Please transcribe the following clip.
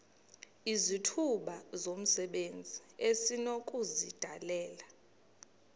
izithuba zomsebenzi esinokuzidalela